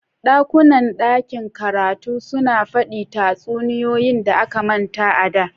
ɗakunan ɗakin karatu suna faɗi tatsuniyoyi da aka manta a da